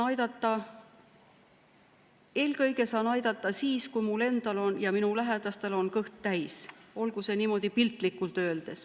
Eelkõige saan aidata siis, kui mul endal, minu lähedastel on kõht täis, kui niimoodi piltlikult öelda.